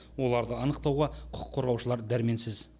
оларды анықтауға құқық қорғаушылар дәрменсіз